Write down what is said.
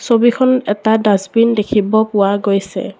ছবিখন এটা ডাষ্টবিন দেখিব পোৱা গৈছে।